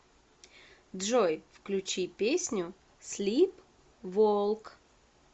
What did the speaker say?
джой включи песню слип волк